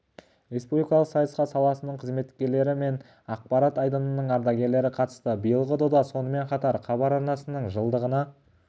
республикалық сайысқа саласының қызметкерлері мен ақпарат айдынының ардагерлері қатысты биылғы дода сонымен қатар хабар арнасының жылдығына